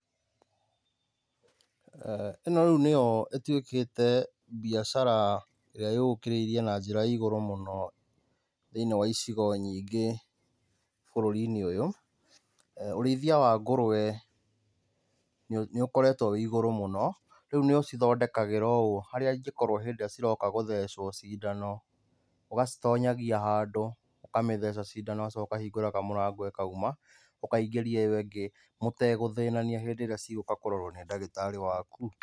ĩno rĩu nĩyo ĩtuĩkĩte mbiacara ĩrĩa ĩyũkĩrĩirie na njĩra ya igurũ mũno thĩini wa icigo nyingĩ bũrũri-inĩ ũyũ. Ũrĩithia wa ngũrwe nĩ ũkoretwo wĩ igũrũ mũno, rĩu nĩ ũcithondekagĩra ũũ harĩa ingĩkorwo hĩndĩ ĩrĩa ciroka gũthecwo cindano. Ũgacitonyagia handũ ũkamĩtheca cindano ũgacoka ũkahingũra kamũrango ĩkauma, ũkaingĩria ĩyo ĩngĩ mũtegũthĩnania hĩndĩ ĩrĩa cigũka kũrorwo nĩ ndagĩtarĩ waku.